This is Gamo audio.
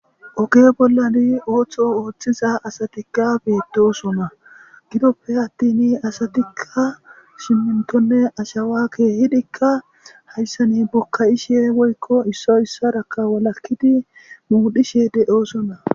Oge bollani ooththo ooththiza asatikka beedosona gidoppe attini asatikka simmintonne ashawa keehidikka hayssani bokka'ishe woykko issoy issaraka walakkidi muudhishe de'oosona.